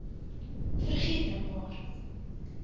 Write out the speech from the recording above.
vergeet nou maar